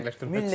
Yox, heç yoxdur.